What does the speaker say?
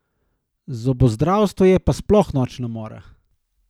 Zobozdravstvo je pa sploh nočna mora.